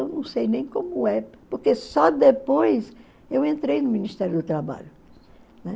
Eu não sei nem como é, porque só depois eu entrei no Ministério do Trabalho. Né?